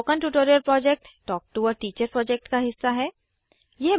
spoken tutorial project talk to a teacher project का हिस्सा है